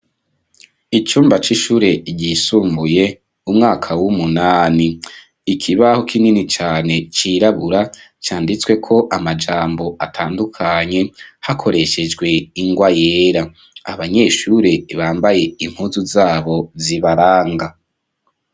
Icumba c'ishure ryisumbuye umwaka w'umunani. Ikibaho kinini cane cirabura canditsweko amajambo atandukanye hakoreshejwe ingwa yera. Abanyeshure bambaye impuzu zabo zibaranga.